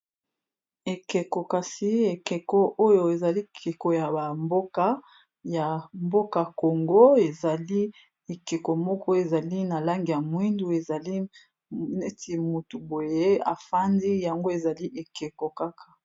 Ekeko, kasi ekeko oyo ezali ekeko ya ba mboka Ya mboka Congo . Ezali ekeko moko, ezali na langi ya mwindu ezali neti mutu boye a fandi yango ezali ekeko kaka .